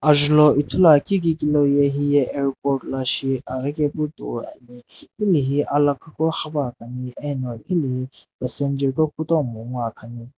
ajulo ithulu akeu heye airport lo shi aghikae pu toi ane hiae he alakhii lo ghipae pa ne ano gilaehi passenger gho kutomo nguo akani.